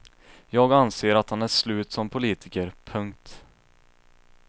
Jag anser att han är slut som politiker. punkt